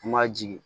N ma jigin